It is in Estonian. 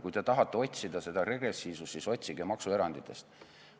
Kui te tahate otsida regressiivsust, siis otsige maksueranditest.